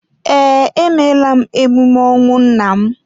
Ee, emeela m emume ọnwụ nna m